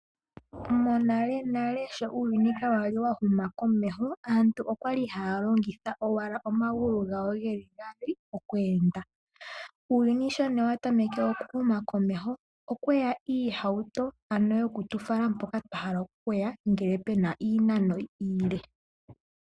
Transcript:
Monalenale nale shoka uuyuni kwali inawu huma komeho aantu okwali haya longitha owala omagulu gawo gaali oku enda. Uuyuni sho watameke oku enda wu uka komeho okweya iihauto ano yoku tu fala hoka twahala okuya ngele pena iinano iile.